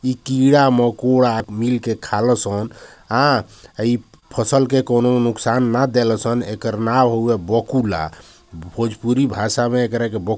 इ कीड़ा- मकोड़ा मिलके खालो सन | हाँ इ फसल के कोनो नुक्सान न देलसन| एकर नाम हुए भोजपुरी भाषा में एकरे ब --